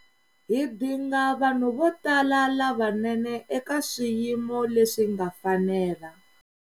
Hi dinga vanhu vo tala lavanene eka swiyimo leswi nga fanela.